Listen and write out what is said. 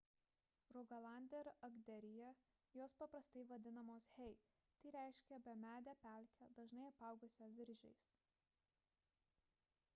rugalande ir agderyje jos paprastai vadinamos hei tai reiškia bemedę pelkę dažnai apaugusią viržiais